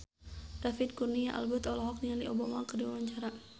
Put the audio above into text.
David Kurnia Albert olohok ningali Obama keur diwawancara